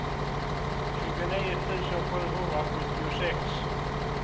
tjugonio tusen sjuhundrasjuttiosex